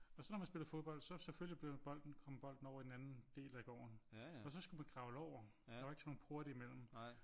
Og så når man spillede fodbold så selvfølgelig blev bolden kom bolden over i den anden del af gården og så skulle man kravle over der var ikke sådan nogle porte i mellem